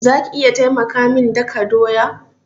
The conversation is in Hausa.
Za ki iya taimaka min daka doya?